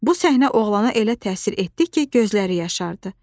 Bu səhnə oğlana elə təsir etdi ki, gözləri yaşardı.